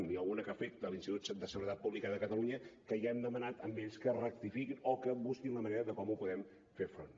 n’hi ha alguna que afecta l’institut de seguretat pública de catalunya que ja els hem demanat a ells que ho rectifiquin o que busquin la manera de com hi podem fer front